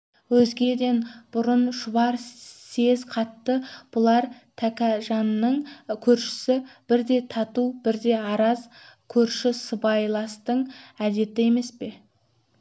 өзгеден бұрын шұбар сез қатты бұлар тәкежанның көршісі бірде тату бірде араз көрші сыбайластың әдеті емес